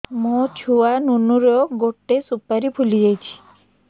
ମୋ ଛୁଆ ନୁନୁ ର ଗଟେ ସୁପାରୀ ଫୁଲି ଯାଇଛି